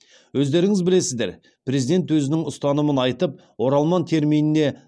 өздеріңіз білесіздер президент өзінің ұстанымын айтып оралман терминіне